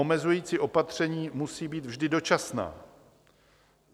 Omezující opatření musí být vždy dočasná.